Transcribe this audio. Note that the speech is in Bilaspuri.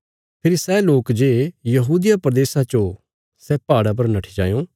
फेरी सै लोक जे यहूदिया प्रदेशा च ओ सै पहाड़ा पर नट्ठी जायों